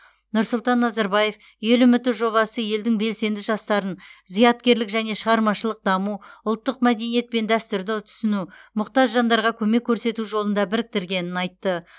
нұрсұлтан назарбаев ел үміті жобасы елдің белсенді жастарын зияткерлік және шығармашылық даму ұлттық мәдениет пен дәстүрді түсіну мұқтаж жандарға көмек көрсету жолында біріктіргенін айтты